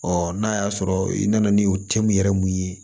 Ɔ n'a y'a sɔrɔ i nana ni o cɛ mun yɛrɛ mun ye